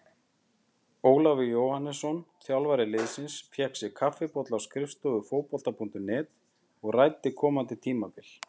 Ólafur Jóhannesson, þjálfari liðsins, fékk sér kaffibolla á skrifstofu Fótbolta.net og ræddi komandi tímabil.